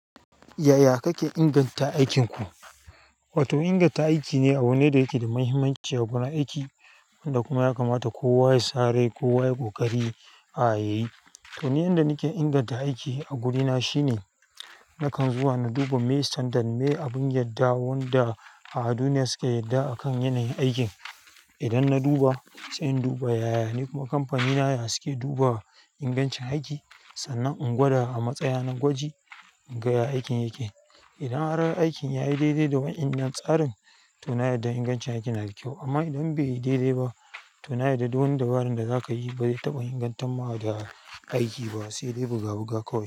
Yaya kake inganta aikinku? To inganta aiki ne abu ne da yake da mahimmanci a gurin aiki da kuma ya kamata kowa ya sa rai kowa ya ƙoƙari a yayyi. To ni inda nake inganta aiki a wurina shine nakan zuwa na duba mai sandan, me abun yarda wanda a duniya suke yarda a kan yanayin aikin. Idan na duba, sai in duba yaya kamfanina ya suke duba ingancin aiki. Sannan in gwada a matsayina na gwaji in ga yadda aikin yake. Idan har aikin ya yi daidai da wani yan tsarin, to na yarda ingancin aikin yana da kyau. Amma idan bai yi daidai ba, to na yarda duh dabaran da za ka yi bai taɓa ingantamma da aiki ba, sai dai buga buga kawai.